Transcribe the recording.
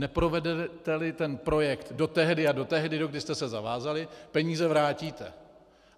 Neprovedete-li ten projekt do tehdy a do tehdy, dokdy jste se zavázali, peníze vrátíte.